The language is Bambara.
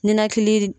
Ninakili